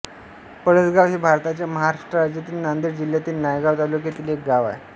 पळसगाव हे भारताच्या महाराष्ट्र राज्यातील नांदेड जिल्ह्यातील नायगाव तालुक्यातील एक गाव आहे